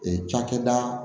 Ee cakɛda